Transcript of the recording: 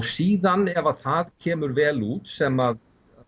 síðan ef að það kemur vel út sem